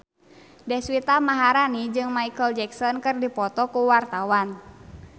Deswita Maharani jeung Micheal Jackson keur dipoto ku wartawan